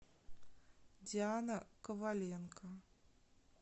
диана коваленко